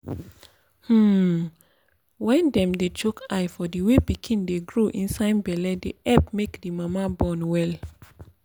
hmm. wen dem dey chook eye for the way pikin dey grow inside belle dey epp make di mama born well.